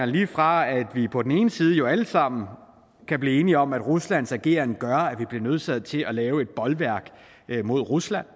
lige fra at vi på den ene side jo alle sammen kan blive enige om at ruslands ageren gør at vi bliver nødsaget til at lave et bolværk mod rusland